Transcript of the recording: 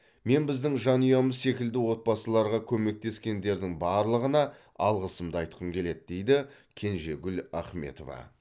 мен біздің жанұямыз секілді отбасыларға көмектескендердің барлығына алғысымды айтқым келеді дейді кенжегүл ахметова